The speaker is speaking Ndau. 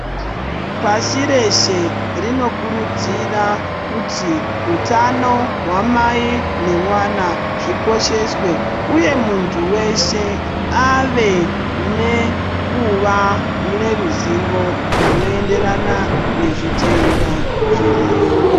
Pasi rese rinokudzira kuti utano hwamai nemwana zvikosheswe uye muntu weshe ave nekuva neruzivo zvinoenderana nezvitenda zviriyo.